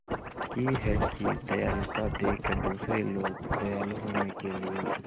की है कि दयालुता देखकर दूसरे लोग दयालु होने के लिए